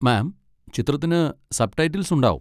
മാം, ചിത്രത്തിന് സബ്ടൈറ്റിൽസ് ഉണ്ടാവും.